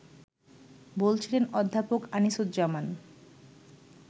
বলছিলেন অধ্যাপক আনিসুজ্জামান